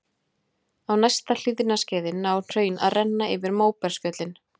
Á næsta hlýskeiði ná hraun að renna yfir móbergsfjöllin.